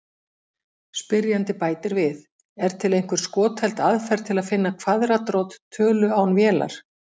Spyrjandi bætir við: Er til einhver skotheld aðferð til að finna kvaðratrót tölu án vélar?